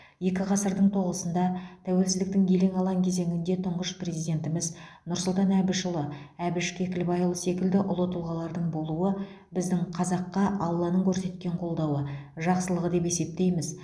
екі ғасырдың тоғысында тәуелсіздіктің елең алаң кезеңінде тұңғыш президентіміз нұрсұлтан әбішұлы әбіш кекілбайұлы секілді ұлы тұлғалардың болуы біздің қазаққа алланың көрсеткен қолдауы жақсылығы деп есептейміз